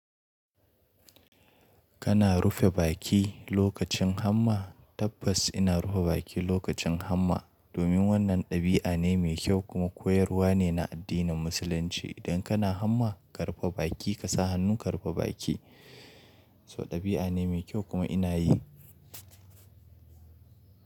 Kana rufe baki lokacin hamma? Tabbas ina rufe baki lokacin hamma domin wannan ɗabi'a ne mai kyau kuma koyarwa ne na addinin musulunci. Idan kana hamma ka rufe baki ka sa hannunka rufe baki. So ɗabi'a ne mai kyau kuma ina yi.